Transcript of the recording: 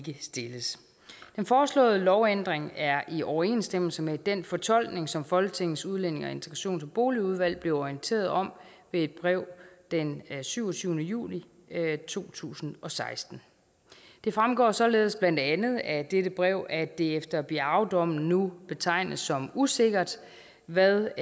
stilles den foreslåede lovændring er i overensstemmelse med den fortolkning som folketingets udlændinge integrations og boligudvalg blev orienteret om ved et brev den syvogtyvende juli to tusind og seksten det fremgår således blandt andet af dette brev at det efter biaodommen nu betegnes som usikkert hvad